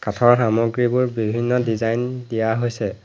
কাঠৰ সামগ্ৰীবোৰত বিভিন্ন ডিজাইন দিয়া হৈছে।